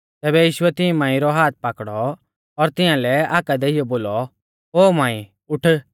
तैबै यीशुऐ तिऐं मांई रौ हाथ पाकड़ौ और तिंया लै हाका देइयौ बोलौ ओ मांई उठ